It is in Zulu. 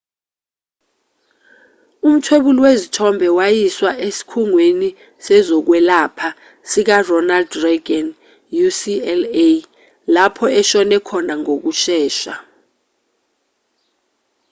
umthwebuli wezithombe wayiswa esikhungweni sezokwelapha sikaronald reagan ucla lapho eshone khona ngokushesha